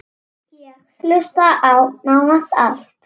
Ég hlusta á: nánast allt